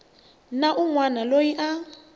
na un wana loyi a